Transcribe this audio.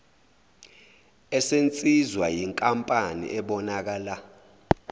esenziwa yinkampani ebonakala